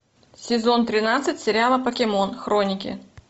сезон тринадцать сериала покемон хроники